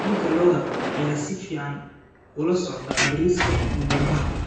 Hilibka lo'da ayaa si fiican ula socda bariiska qumbaha.